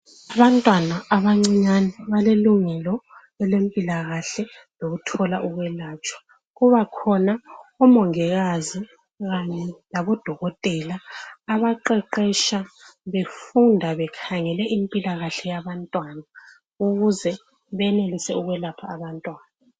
Abantwana abancinyane balelungelo elempilakahle lokuthola ukwelatshwa. Kubakhona omongikazi kanye laboDokotela abaqeqetsha befunda bekhangele impilakahle yabantwana ,ukuze benelise ukwelapha abantwana.